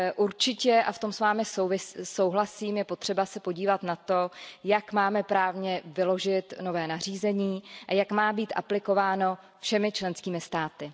Určitě, a v tom s vámi souhlasím, je potřeba se podívat na to, jak máme právně vyložit nové nařízení a jak má být aplikováno všemi členskými státy.